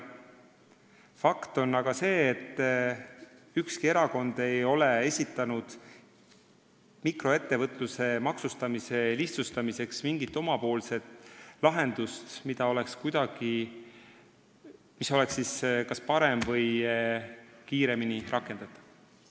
Fakt on aga see, et ükski erakond ei ole esitanud mikroettevõtluse maksustamise lihtsustamiseks mingit omapoolset lahendust, mis oleks kas parem või kiiremini rakendatav.